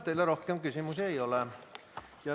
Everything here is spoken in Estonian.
Teile rohkem küsimusi ei ole.